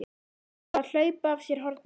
Þetta þarf að hlaupa af sér hornin!